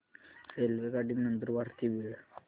रेल्वेगाडी नंदुरबार ते बीड